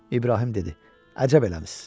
İbrahim dedi: Əcəb eləmisiz.